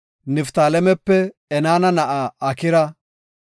Niftaalemepe Enaana na7a Akira;